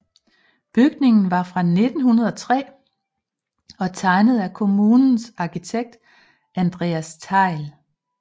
Bygningen var fra 1903 og tegnet af kommunens arkitekt Andreas Thejll